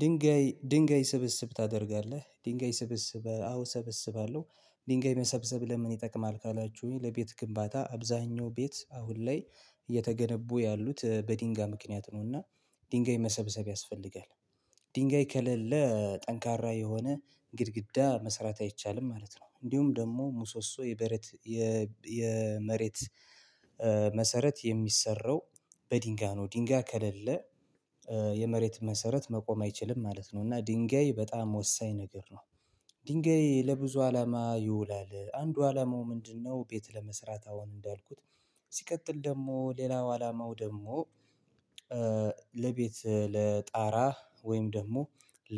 ድንጋይ ድንጋይ ስብስብ ታደርጋለህ ድንጋይ ስብስብ አዎ ሰብስባለሁ ድንጋይ መሰብሰብ ለምን ይጠቅማል? ካላችሁኝ ለቤት ግንባታ አብዛኛው ቤት አሁን ላይ እየተገነቡ ያሉት በድንጋይ ምክንያት ነውና ድንጋይ መሰብሰብ ያስፈልጋል። ድንጋይ ከሌለ ጠንካራ የሆነ ግድግዳ መሰራት አይቻልም ማለት ነው። እንዲሁም ደግሞ ሙሶሶ የበሬት የመሬት መሰረት የሚሰራው በድንጋይ ነው። ድንጋይ ከሌለ የመሬት መሰረት መቆም አይችልም ማለት ነው። እና ድንጋይ በጣም ወሳኝ ነገር ነው። ድንጋይ ለብዙ አላማ ይውላል አንዱ አላማው ምንድነው? ቤት ለመስራት አሁን እንዳልኩት ሲቀጥል ደግሞ ሌላው አላማው ደግሞ ለቤት ለጣራ ወይም ደግሞ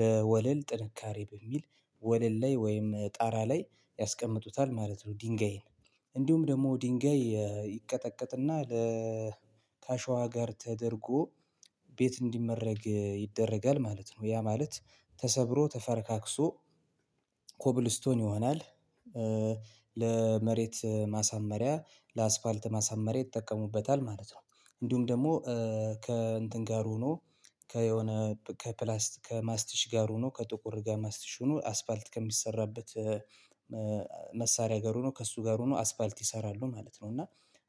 ለወለል ጥንካሬ በሚል ወለል ላይ ወይም ጣራ ላይ ያስቀምጡታል ማለት ነው። ድንጋይን እንዲሁም ደግሞ ድንጋይ ይቀጠቀጥና ለ ከአሸዋ ጋር ተደርጎ ቤት እንዲመረግ ይደረጋል ማለት ነው። ያ ማለት ተሰብሮ ተፈርካክሶ ኮብልስቶን ይሆናል። ለመሬት ማሳመሪያ ለአስፋልት ማሳመሪያ ይጠቀሙበታል ማለት ነው። እንዲሁም ደግሞ ከእንትን ጋር ሆኖ ከየሆነ ከፕላስት ከማስቲሽ ጋር ሆኖ ከጥቁር ጋር ማስቲሽ ሆኖ አስፋልት ከሚሰራበት መሳሪያ ጋር ሆኖ ከእሱ ጋር ሆኖ አስፋልት ይሰራሉ ማለት ነው። እና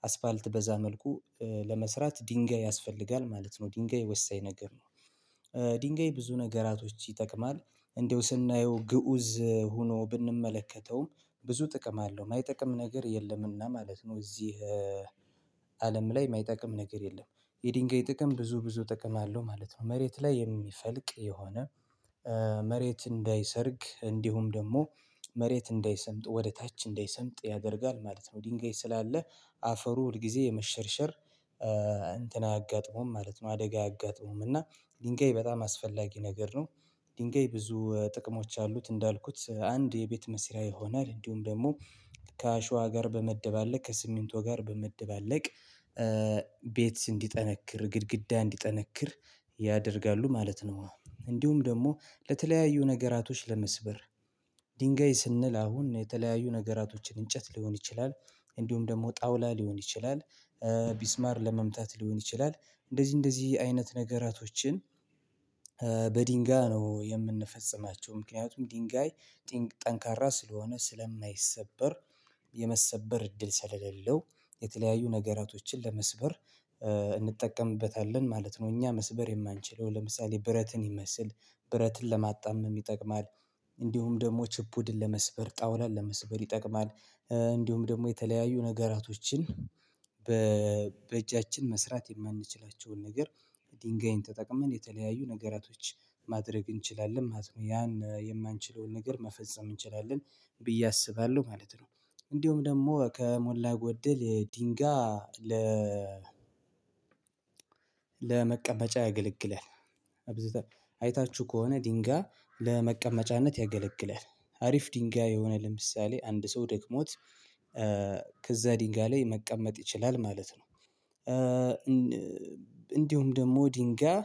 አስፋልት በዛ መልኩ ለመስራት ድንጋይ ያስፈልጋል ማለት ነው። ድንጋይ ወሳኝ ነገር ነው። ድንጋይ ብዙ ነገራቶች ይጠቅማል እንደው ስናየው ግኡዝ ሆኖ ብንመለከተውም ብዙ ጥቅም አለው የማይጠቅም ነገር የለምና ማለት ነው። እዚህ አለም ላይ የማይጠቅም ነገር የለም። የድንጋይ ጥቅም ብዙ ብዙ ጥቅም አለው ማለት ነው። መሬት ላይ የሚፈልቅ የሆነ መሬት እንዳይሰርግ እንዲሁም ደግሞ መሬት እንዳይሰምጥ ወደ ታች እንዳይሰምጥ ያደርጋል ማለት ነው። ድንጋይ ስላለ አፈሩ ሁል ጊዜ የመሸርሸር እንትን አያጋጥመውም ማለት ነው። አደጋ አያጋጥመውም እና ድንጋይ በጣም አስፈላጊ ነገር ነው። ድንጋይ ብዙ ጥቅሞች አሉት እንዳልኩት አንድ የቤት መስሪያ ይሆናል እንዲሁም ደግሞ ከአሸዋ ጋር በመደባለቅ ከሲሚንቶ ጋር በመደባለቅ ቤት እንዲጠነክር ግድግዳ እንዲጠነክር ያደርጋሉ ማለት ነው። እንዲሁም ደግሞ ለተለያዩ ነገራቶች ለመስበር ድንጋይ ስንል አሁን የተለያዩ ነገራቶችን እንጨት ሊሆን ይችላል። እንዲሁም ደግሞ ጣውላ ሊሆን ይችላል። ቢስማር ለመምታት ሊሆን ይችላል እንደዚህ እንደዚህ አይነት ነገራቶችን በድንጋይ ነው የምንፈጽማቸው ምክንያቱም ድንጋይ ጠንካራ ስለሆነ ስለማይሰበር የመሰበር እድል ሰለሌለው የተለያዩ ነገራቶችን ለመስበር እንጠቀምበታለን ማለት ነው። እኛ መስበር የማንችለው ለምሳሌ ብረትን ይመስል ብረትን ለማጣመም ይጠቅማል። እንዲሁም ደግሞ ችፑድን ለመስበር ጣውላን ለመስበር ይጠቅማል። እንዲሁም ደግሞ የተለያዩ ነገራቶችን በ በእጃችን መስራት የማንችላቸውን ነገር ድንጋይን ተጠቅመን የተለያዩ ነገራቶች ማድረግ እንችላለን ማለት ነው። ያን የማንችለውን ነገር መፈጸም እንችላለን ብዬ አስባለሁ ማለት ነው። እንዲሁም ደግሞ ከሞላ ጎደል የድንጋይ ለ ለመቀመጫ ያገለግላል። አይታችሁ ከሆነ ድንጋይ ለመቀመጫነት ያገለግላል አሪፍ ድንጋይ የሆነ ለምሳሌ አንድ ሰው ደክሞት ከዛ ድንጋይ ላይ መቀመጥ ይችላል ማለት ነው። እንዲሁም ደግሞ ድንጋይ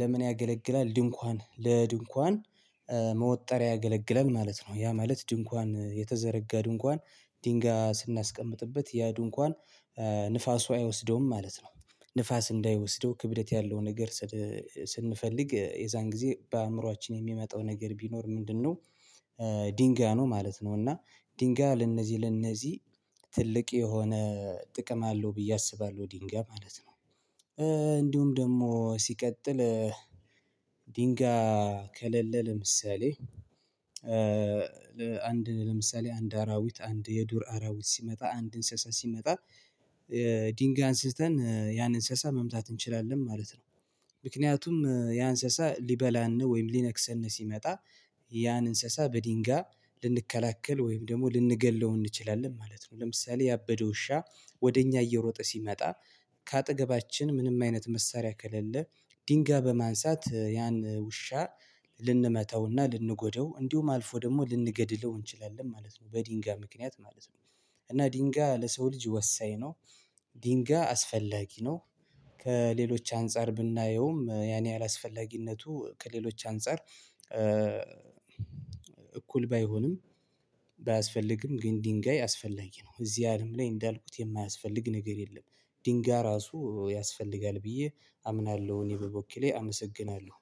ለምን ያገለግላል? ድንኳን ለድንኳን መወጠሪያ ያገለግለል ማለት ነው ያ ማለት ድንኳን የተዘረጋ ድንኳን ድንጋይ ስናስቀምጥበት ያ ድንኳን ንፋሱ አይወስደውም ማለት ነው። ንፋስ እንዳይወስደው ክብደት ያለው ነገር ስንፈልግ የዛን ጊዜ በአእምሮአችን የሚመጣው ነገር ቢኖር ምንድነው? ድንጋይ ነው ማለት ነው። እና ድንጋይ ለነዚህ ለነዚህ ትልቅ የሆነ ጥቅም አለው ብዬ አስባለሁ ድንጋይ ማለት ነው። እንዲሁም ደግሞ ሲቀጥል ድንጋይ ከለለ ለምሳሌ አንድ ለምሳሌ አንድ አራዊት አንድ የዱር አራዊት ሲመጣ አንድ እንስሳ ሲመጣ ድንጋይ አንስተን ያን እንስሳ መምታት እንችላለን ማለት ነው። ምክንያቱም ያ እንስሳ ሊበላን ነው ወይም ሊነክስን ሲመጣ ያን እንስሳ በድንጋይ በድንጋይ ልንከላከል ወይም ደግሞ ልንገድለው እንችላለን ማለት ነው። ለምሳሌ ያበደ ውሻ ወደ እኛ እየሮጠ ሲመጣ ከአጠገባችን ምንም አይነት መሳሪያ ከሌለ ድንጋይ በማንሳት ያን ውሻ ልንመታውና ልንጎደው እንዲሁም አልፎ ደግሞ ልንገድለው እንችላለን ማለት ነው። በድንጋይ ምክንያት ማለት ነው። እና ድንጋይ ለሰው ልጅ ወሳኝ ነው። ድንጋይ አስፈላጊ ነው። ከሌሎች አንፃር ብናየውም ያን ያህል አስፈላጊነቱ ከሌሎች አንፃር እኩል ባይሆንም ባያስፈልግም ግን ድንጋይ አስፈላጊ ነው። እዚህ አለም ላይ እንዳልኩት የማያስፈልግ ነገር የለም። ድንጋይ ራሱ ያስፈልጋል ብዬ አምናለሁ እኔ በበኩሌ አመሰግናለሁ